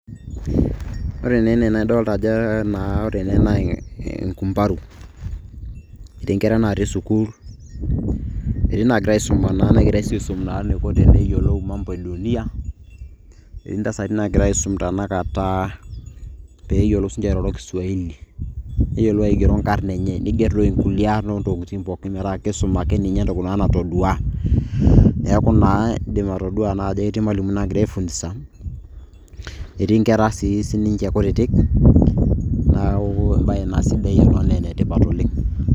Ore naa ene na idolta ajo naa ore ene na enkumbaru, etii nkera natii sukuul, etii nagira aisuma na negirai si aisum na eniko teneyiolou mambo e dunia. Etii ntasati nagirai aisum tanakata, peyiolou sinche airoro kiswahili, neyiolou aigero inkarn enye, niger toi nkulie aarn ontokiting' pookin metaa kisum ake ninye naa entoki natodua. Neeku naa idim atodua na ajo etii nagira aifunsa, netii nkera si sininche kutitik, neeku ebae naa sidai ena naa enetipat oleng'.